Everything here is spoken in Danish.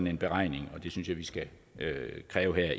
en beregning og det synes jeg vi skal kræve her